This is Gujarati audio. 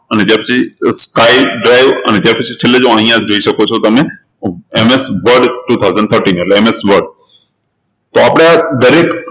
અને skypedrive અને છેલ્લે જુઓ અહિયાં જોઈ શકો છો તમે MSwordtwo thousand thirteen એટલે MS Word તો આપણે આ દરેક